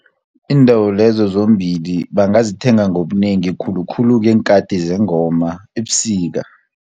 Iindawo lezo zombili bangazithenga ngobunengi, khulukhulu ngeenkhati zengoma ebusika.